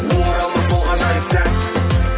оралмас сол ғажайып сәт